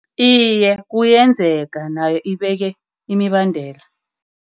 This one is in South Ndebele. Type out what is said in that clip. Iye, kuyenzeka nayo ibeke imibandela.